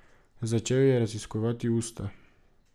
Začel ji je raziskovati usta.